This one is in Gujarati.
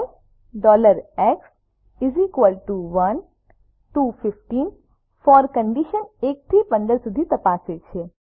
four x 1 to 15 for condition 1 થી 15 સુધી તપાસે છે